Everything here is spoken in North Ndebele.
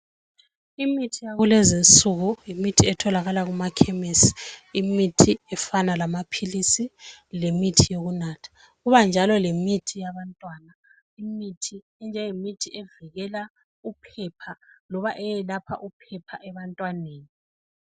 Imithi yakulezinsuku yimithi etholakala kumakhemesi. Yimithi efana lamaphilisi lemithi yokunatha. Kubakhona njalo lemithi yabantwana evikela uphepha loba eyelapha uphepha ebantwaneni.